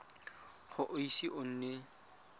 ga o ise o nne